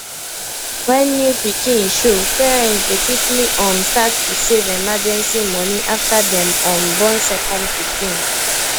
when new pikin show parents dey quickly um start to save emergency money after dem um born second pikin